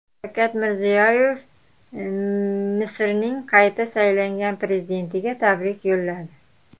Shavkat Mirziyoyev Misrning qayta saylangan prezidentiga tabrik yo‘lladi.